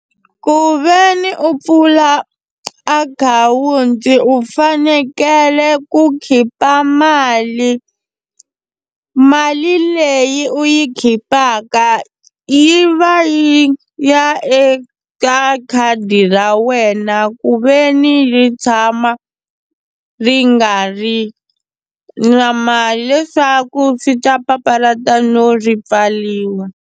Ku ve ni u pfula akhawunti u fanekele ku khipa mali mali leyi u yi khipaka yi va yi ya eka khadi ra wena ku ve ni ri tshama ri nga ri na mali leswaku swi ta papalata no ri pfariwa.